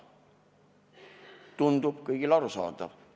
Tundub kõigile arusaadav.